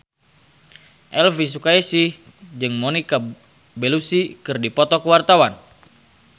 Elvy Sukaesih jeung Monica Belluci keur dipoto ku wartawan